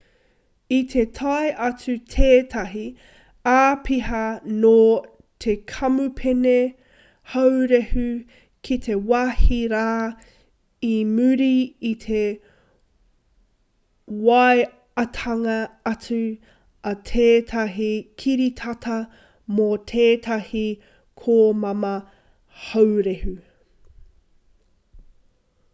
i te tae atu tētahi āpiha nō te kamupene haurehu ki te wāhi rā i muri i te waeatanga atu a tētahi kiritata mō tētahi komama haurehu